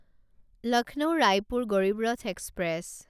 Lucknow Raipur Garib Rath express